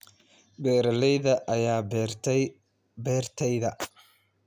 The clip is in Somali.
Beeralayda ayaa beeray beertayda